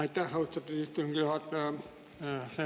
Aitäh, austatud istungi juhataja!